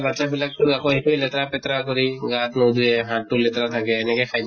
বাচ্ছা বিলাকটো আকৌ সেইটোয়ে লেতেৰা পেতেৰা কৰি গা ন্ধুয়ে, হাতটো লেতেৰা থাকে, এনেকাই খাই